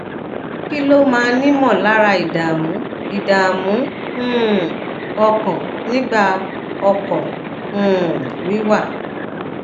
kí ló máa ń imolara ìdààmú ìdààmú um ọkàn nigba okọ um wiwa